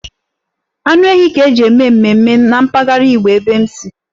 Anụ ehi ka-eji eme mmemme na mpaghara Igbo ebe m nsi.